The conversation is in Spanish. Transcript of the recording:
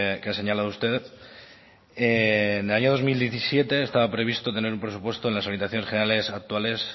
que ha señalado usted en el año dos mil diecisiete estaba previsto tener un presupuesto en las orientaciones generales actuales